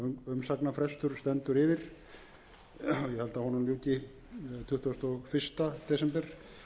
umsagnarfrestur stendur yfir ég held að honum ljúki tuttugasta og fyrsta desember